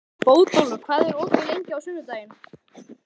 Bótólfur, hvað er opið lengi á sunnudaginn?